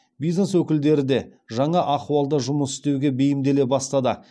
бизнес өкілдері де жаңа ахуалда жұмыс істеуге бейімделе бастады